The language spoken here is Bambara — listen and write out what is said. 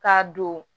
K'a don